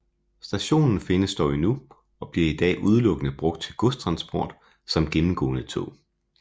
Stationen findes dog endnu og bliver i dag udelukkende brugt til godstransport samt gennemgående tog